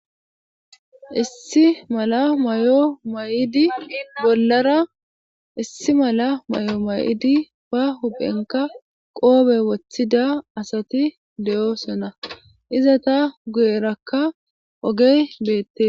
Issi mala may'o may'idi bollara issi mala may'o may'idi ba huphenka qoobe woththida asati deyosona iza ta guyerakka ogey beette.